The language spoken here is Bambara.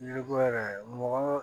Yiriko yɛrɛ mɔgɔ